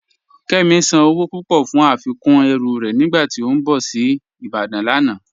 Kẹmi sán owó púpọ̀ fún afikún ẹ̀rù rẹ̀ nígbàtí ó n bọ̀ sí Ìbàdàn lánà.